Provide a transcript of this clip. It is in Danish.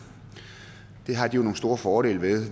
det har de jo nogle store fordele ved